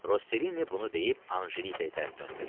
Rosselini bunu deyib Ancelikaya tərəf döndü.